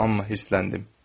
Amma hirsləndim.